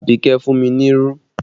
Abike fún mi ní irú